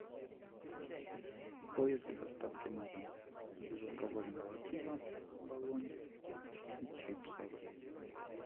поиск доставки на дом безалкогольного пива оболонь и чипсов